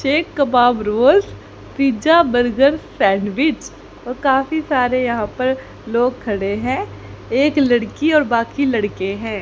ये कबाब rolls pizza burger sandwich और काफी सारे यहां पर लोग खड़े हैं एक लड़की और बाकी लड़के हैं।